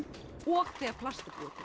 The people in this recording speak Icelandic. og þegar plast